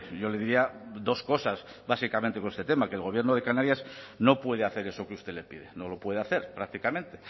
yo le diría dos cosas básicamente con este tema que el gobierno de canarias no puede hacer eso que usted le pide no lo puede hacer prácticamente